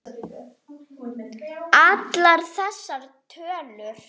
Allar þessar tölur.